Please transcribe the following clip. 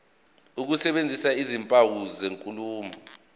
ukusebenzisa izimpawu zenkulumo